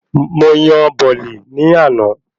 Mo yan bọ̀ọ̀lì ní àná